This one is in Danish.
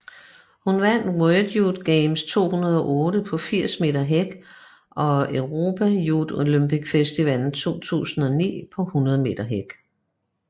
Hun vandt World Youth Games 2008 på 80 meter hæk og European Youth Olympic Festival 2009 på 100 meter hæk